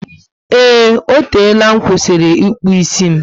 Eee, O tela nkwusiri ịkpụ isi m